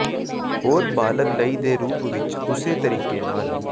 ਹੋਰ ਬਾਲਗ ਲਈ ਦੇ ਰੂਪ ਵਿੱਚ ਉਸੇ ਤਰੀਕੇ ਨਾਲ